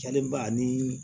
ba ni